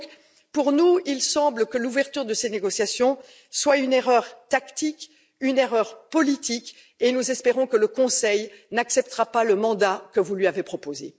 Et donc, pour nous, il semble que l'ouverture de ces négociations soit une erreur tactique, une erreur politique, et nous espérons que le Conseil n'acceptera pas le mandat que vous lui avez proposé.